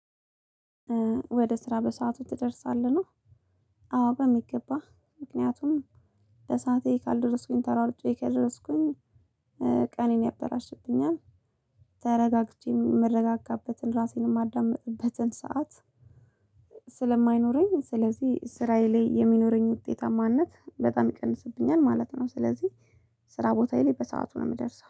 ወደ ስራ በሰአቱ ትደርሳለህ? ነው አዎ በሚገባ ምክንያቱም በሰአቴ ካልደረስኩኝ ተሯርጬ ካልደረስኩኝ ቀኔን ያበላሽብኛል። ተረጋግቼ የምረጋጋበትን ራሴን የማዳምጥበትን ሰዓት ስለማይኖረኝ ስለዚህ ስራዬ ላይ የሚኖረኝ ውጤታማነት በጣም ይቀንስብኛል ማለት ነው። ስለዚህ ስራ ቦታዬ ላይ በሰአቱ ነው የምደርሰው።